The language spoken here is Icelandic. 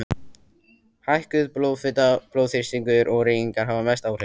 Hækkuð blóðfita, blóðþrýstingur og reykingar hafa mest áhrif.